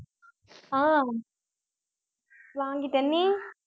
ஆஹ் வாங்கிட்டேன் நீ